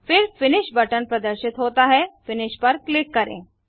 फिर finish button प्रदर्शित होता है फिनिश पर क्लिक करें